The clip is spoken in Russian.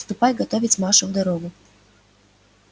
ступай готовить машу в дорогу